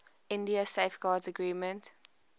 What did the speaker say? india safeguards agreement